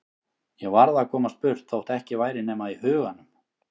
Ég varð að komast burt þótt ekki væri nema í huganum.